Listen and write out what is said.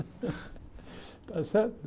Está certo?